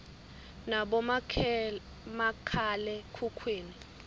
nabomakhale khukhwini